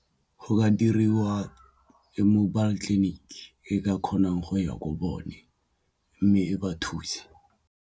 Go ka diriwa mobile clinic e ka kgonang go ya ko bone mme e ba thuse.